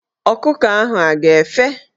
Ọkụkọ ahụ a ga--efe?